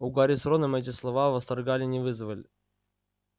у гарри с роном эти слова восторга не вызвали